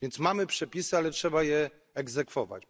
A więc mamy przepisy, ale trzeba je egzekwować.